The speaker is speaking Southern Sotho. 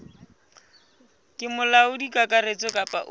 ke molaodi kakaretso kapa o